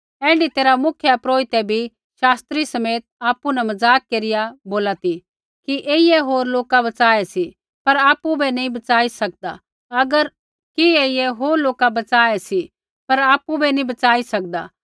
ऐण्ढी तैरहा मुख्यपुरोहिता भी शास्त्रियै समेत आपु न मज़ाक केरिया बोला ती कि ऐईयै होर लोका बच़ाए सी पर आपु बै नैंई बच़ाई सकदा